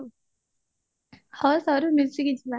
ହଁ ସାରୁ ମିଶିକି ଯିବା